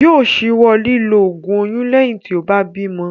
Yóò ṣíwọ́ lílo ògùn oyún lẹ́yìn tí ó bá bímo.